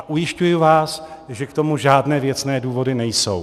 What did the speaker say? A ujišťuji vás, že k tomu žádné věcné důvody nejsou.